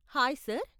Hi sir .